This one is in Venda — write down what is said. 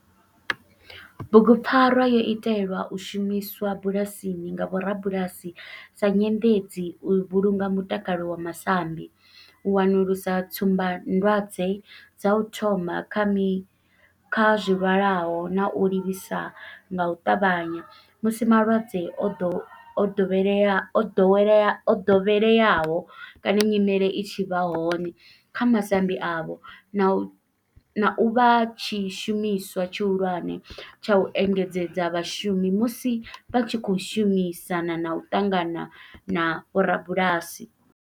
Bugupfarwa yo itelwa u shumiswa bulasini nga vhorabulasi sa nyendedzi u vhulunga mutakalo wa masambi, u wanulusa tsumbandwadzwe dza u thoma kha zwilwalaho na u livhisa nga u tavhanya musi malwadze o dovheleaho o dovheleaho o dovheleaho kana nyimele i tshi vha hone kha masambi avho, na u vha tshishumiswa tshihulwane tsha u engedzedza vhashumi musi vha tshi khou shumisana na u ṱangana na vhorabulasi.